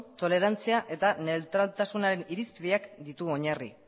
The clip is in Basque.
tolerantzia eta neutraltasunaren irizpideak ditu oinarri